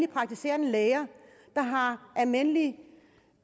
praktiserende læger der har almindelige